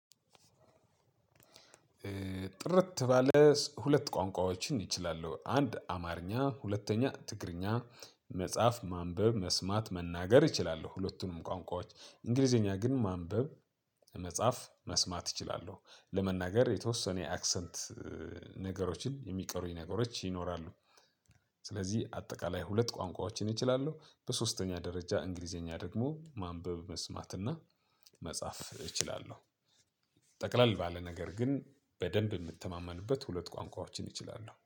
ጥርት ባለ ሁለት ቋንቋዎችን እችላለሁ አንድ አማርኛ ሁለተኛ ትግርኛ መጽሐፍ ማንበብ መስማት መናገር እችላለሁ ሁለቱንም ቋንቋዎች እንግሊዘኛ ግን ማንበብ መጻፍ መስማት እችላለሁ ለመናገር የተወሰነ የአክሰንት ነገሮችን የሚቀሩኝ ነገሮች ይኖራሉ። ስለዚህ አጠቃለይ ሁለት ቋንቋዎችን እችላለሁ በሶስተኛ ደረጃ እንግሊዝኛ ደግሞ ማንበብ መስማት እና መጽሐፍ እችላለሁ። ጠቅላል ባለ ነገር ግን በደንብ የምትተማመንበት ሁለት ቋንቋዎችን እችላለሁ